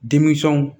Denmisɛnw